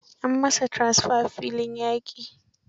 An yi masa tranfer filin yaƙi.